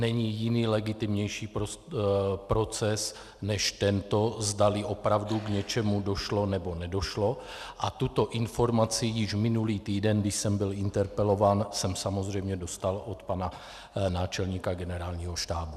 Není jiný legitimnější proces než tento, zdali opravdu k něčemu došlo, nebo nedošlo, a tuto informaci již minulý týden, když jsem byl interpelován, jsem samozřejmě dostal od pana náčelníka Generálního štábu.